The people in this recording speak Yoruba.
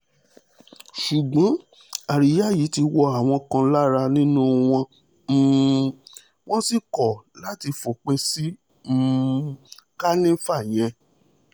ṣùgbọ́n àríyá yìí ti wọ àwọn kan lára nínú wọn um wọ́n sì kọ̀ láti fòpin sí um kànìfà yẹn